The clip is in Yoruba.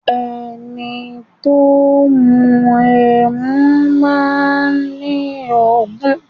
Ẹni tó bá ń mú ẹmu máa ni ọgbọ́n.